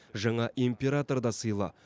жаңа император да сыйлы